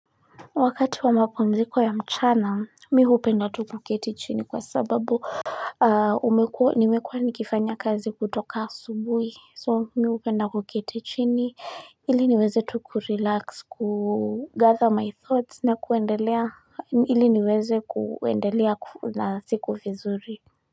Wakati wa mapumziko ya mchana mi hupenda tu kuketi chini kwa sababu ah umekua nimekua nikifanya kazi kutoka asubuhi so mi hupenda kuketi chini ili niweze tukurelax kugather my thoughts na kuendelea ili niweze kuendelea na siku vizuri.